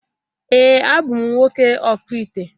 Ee a bụ m nwoke okpu ite